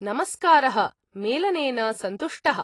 नमस्कारः, मेलनेन सन्तुष्टः!